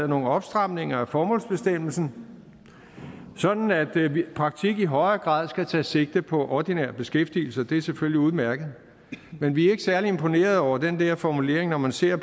nogle opstramninger af formålsbestemmelsen sådan at praktik i højere grad skal tage sigte på ordinær beskæftigelse og det er selvfølgelig udmærket men vi er ikke særlig imponeret over den der formulering når man ser